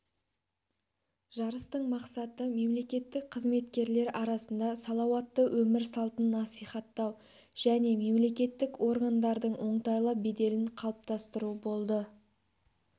жарыстың мақсаты мемлекеттік қызметкерлер арасында салауатты өмір салтын насихаттау және мемлекеттік органдардың оңтайлы беделін қалыптастыру болды